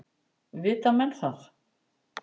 Vita menn það?